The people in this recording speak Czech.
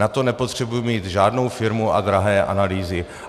Na to nepotřebuji mít žádnou firmu a drahé analýzy.